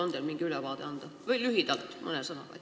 On teil mingi ülevaade anda, lühidalt, mõne sõnaga?